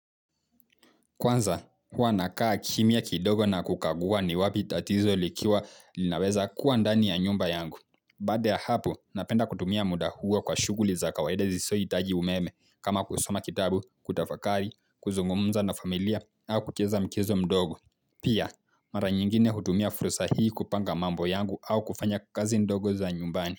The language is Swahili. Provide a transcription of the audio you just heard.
Kwanza, huwa nakaa kimia kidogo na kukaguwa ni wapi tatizo likiwa linaweza kuwa ndani ya nyumba yangu. Baada ya hapo, napenda kutumia muda huo kwa shughuli za kawaida zisizohitaji umeme kama kusoma kitabu, kutafakari, kuzungumza na familia, au kucheza mchezo mdogo. Pia, mara nyingine hutumia fursa hii kupanga mambo yangu au kufanya kazi ndogo za nyumbani.